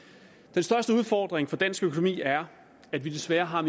den største udfordring for dansk økonomi er at vi desværre har